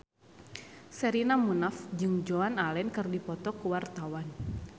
Sherina Munaf jeung Joan Allen keur dipoto ku wartawan